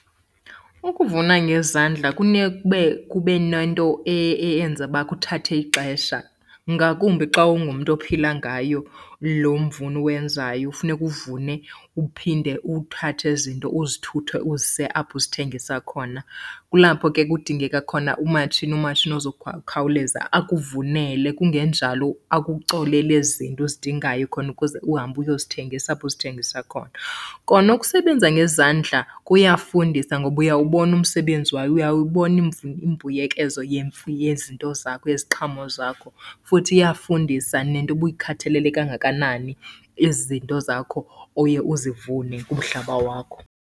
Ukuvuna ngezandla kube nento eyenza uba kuthathe ixesha, ngakumbi xa ungumntu ophila ngayo loo mvuni uwenzayo, funeka uvune uphinde uthathe ezi nto uzithuthe uzise apho uzithengisa khona. Kulapho ke kudingeka khona umatshini, umatshini ozokhawuleza akuvunele kungenjalo akucolele ezi zinto uzidingayo khona ukuze uhambe uyozithengisa apho uzithengisa khona. Kona ukusebenza ngezandla kuyafundisa ngoba uyawubona umsebenzi wayo, uyawubona imbuyekezo yezinto zakho yeziqhamo zakho, futhi iyafundisa nento uba uyikhathalele kangakanani ezi zinto zakho oye uzivune kumhlaba wakho.